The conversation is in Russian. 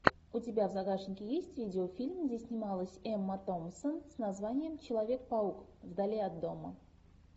у тебя в загашнике есть видеофильм где снималась эмма томпсон с названием человек паук вдали от дома